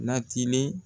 Natilen